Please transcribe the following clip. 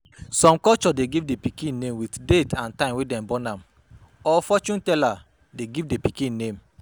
Some culture de name pikin with date and time wey dem born am or fortune teller de give the pikin name